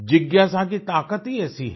जिज्ञासा की ताकत ही ऐसी है